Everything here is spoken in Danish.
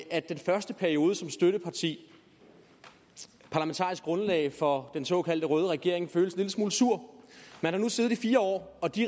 at den første periode som støtteparti parlamentarisk grundlag for den såkaldt røde regering føles en lille smule sur man har nu siddet i fire år og de